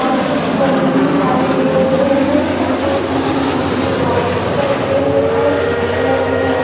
और कुछ बलून्स दिखाई दे रहे है जो दिल सैप में है जो वाइट कलर के है और रेड कलर के है।